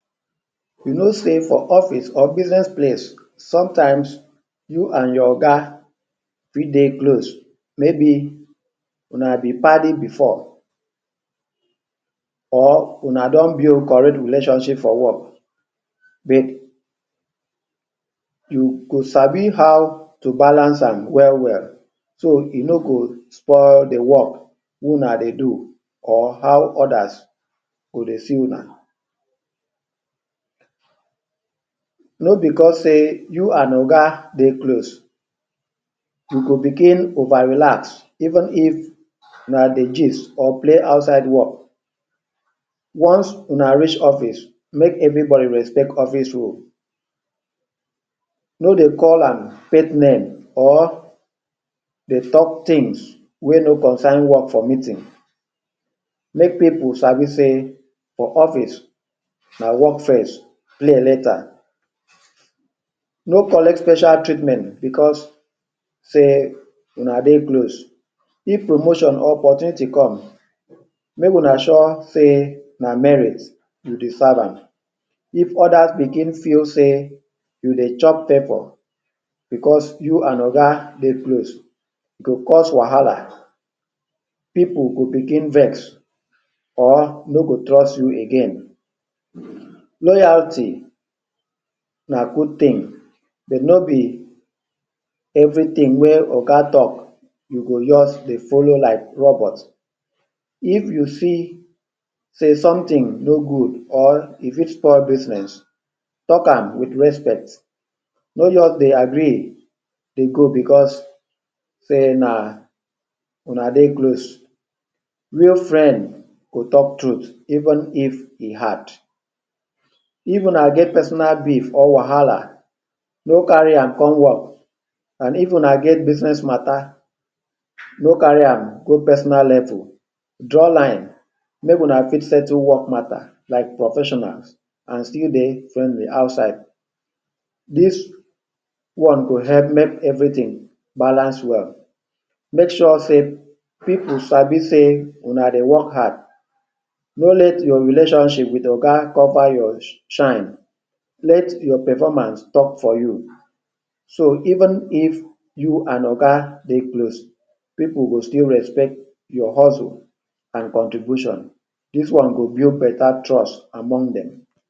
You know sey for office or business place, sometimes you and your Oga fit dey close. Maybe una be paddy before or una don build correct relationship for work but you go sabi how to balance am well well so you no go spoil de work wey una dey do or how others go see una. No because sey you and Oga dey close you go became over-relax. Even if una dey gist or play outside work, once una reach office make everybody respect office rule. No dey call am pet name or dey talk things wey no concern work for meeting. Make pipu sabi sey for office na work first, play later. No collect special treatment because sey una dey close. If promotion or opportunity come make una sure sey na merit you dey serve am. If others begin feel sey you dey chop favour because you and oga dey close, e go cause wahala. Pipu go begin vex or no go trust you again. Loyalty na good thing but no be everything wey oga talk you go just dey follow like robot. If you feel sey something no good or e fit stop business, talk am wit respect. No just dey agree dey go because sey na una dey close. Real friend go talk truth even if e hard. If una get personal beef or wahala no carry am come work and if una get business matter no carry am go personal light oo. Draw line, make una fit settle work matter like professionals and still dey friendly outside. Dis one go help make everything balance well. Make sure sey pipu sabi sey una dey work hard. No let your relationship with oga cover your? shine. Let your performance talk for you. So even if you and oga dey close, pipu go still respect your hustle and contribution. Dis one go build better trust among dem.